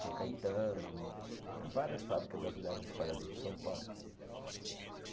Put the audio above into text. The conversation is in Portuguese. São Caetano, tinha várias fábrica da Villares espalhada por São Paulo.